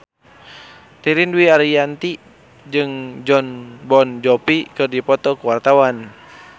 Ririn Dwi Ariyanti jeung Jon Bon Jovi keur dipoto ku wartawan